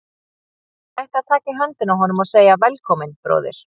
Ég ætti að taka í höndina á honum og segja: Velkominn, bróðir.